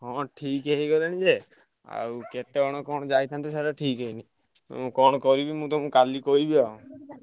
ହଁ ଠିକ୍ ହେଇଗଲାଣି ଯେ ଆଉ କେତବେଳେ କଣ ଯାଇଥାନ୍ତେ ସାଡେ ଠିକ୍ ହେଇନି। ମୁଁ କଣ କରିବି ମୁଁ ତମୁକୁ କାଲି କହିବି ଆଉ।